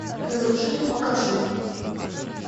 разрушитель покажи